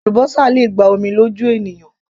Àlúbósà le gba omi lójú ènìyàn